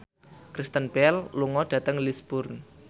Kristen Bell lunga dhateng Lisburn